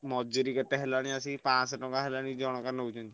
ମଜୁରୀ କେତେ ହେଲାଣି ଆସି ପାଂଶହ ଟଙ୍କା ହେଲାଣି ଜଣକା ନଉଛନ୍ତି।